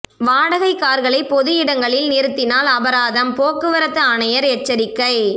வாடகை காா்களை பொது இடங்களில் நிறுத்தினால் அபராதம் போக்குவரத்து ஆணையா் எச்சரிக்கை